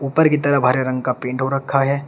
ऊपर की तरफ हरे रंग का पेंट हो रखा है।